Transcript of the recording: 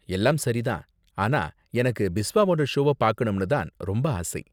எல்லாம் சரி தான், ஆனா எனக்கு பிஸ்வாவோட ஷோவ பாக்கணும்னு தான் ரொம்ப ஆசை.